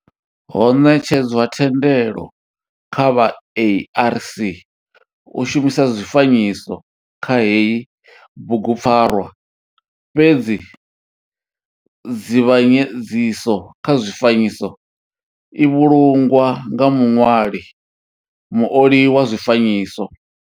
Ho netshedzwa thendelo kha vha ARC u shumisa zwifanyiso kha heyi bugupfarwa fhedzi nzivhanyedziso kha zwifanyiso i vhulungwa nga muṋwali muoli wa zwifanyiso.